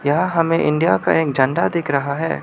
यह हमें इंडिया का एक झंडा दिख रहा है।